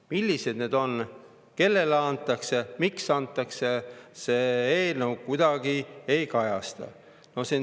Millised need on, kellele antakse, miks antakse – seda eelnõu kuidagi ei kajasta.